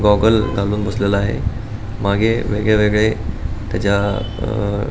goggle घालुन बसलेला आहे मागे वेगळे वेगळे त्याच्या --